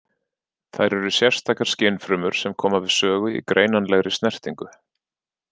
Þær eru sérstakar skynfrumur sem koma við sögu í greinanlegri snertingu.